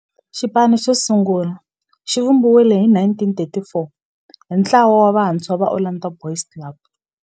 Xipano xosungula xivumbiwile hi 1934 hi ntlawa wa vantshwa va Orlando Boys Club.